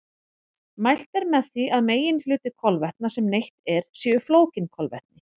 Mælt er með því að meginhluti kolvetna sem neytt er séu flókin kolvetni.